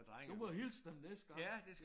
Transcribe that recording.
Du må hilse dem næste gang